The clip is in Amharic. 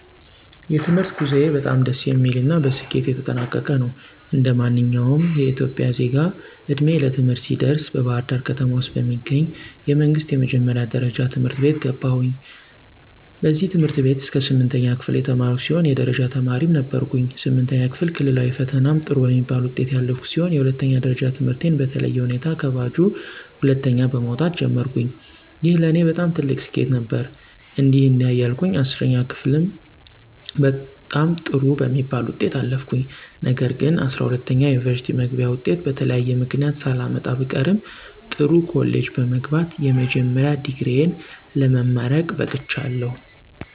የትምህርት ጉዞዬ በጣም ደስ የሚል እና በስኬት የተጠናቀቀ ነው። እንደማንኛውም ኢትዮጵያዊ ዜጋ ዕድሜዬ ለትምህርት ሲደርስ በባህርዳር ከተማ ውስጥ ከሚገኙ የመንግስት የመጀመሪያ ደረጃ ትምህርት ቤት ገባሁኝ። በዚህ ትምህርት ቤት እስከ ስምንተኛ ክፍል የተማርኩ ሲሆን የደረጃ ተማሪም ነበርኩኝ። ስምንተኛ ክፍል ክልላዊ ፈተናም ጥሩ በሚባል ውጤት ያለፍኩ ሲሆን የሁለተኛ ደረጃ ትምህርቴን በተለየ ሁኔታ ከባጁ ሁለተኛ በመወጣት ጀመርኩኝ። ይህ ለኔ በጣም ትልቅ ስኬት ነበር። እንዲህ እንዲያ እያልኩ 10ኛ ክፍልም በጣም ጥሩ በሚባል ውጤት አለፍኩኝ። ነገር ግንጰ12ኛ የዩኒቨርስቲ መግቢያ ወጤት በተለያየ ምክንያት ሳላመጣ ብቀርም ጥሩ ኮሌጅ በመግባት የመጀመሪያ ዲግሪየ ለመማረክ በቅቻለሁ።